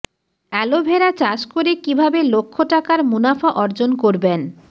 aloe vera চাষ করে কীভাবে লক্ষ টাকার মুনাফা অর্জন করবেন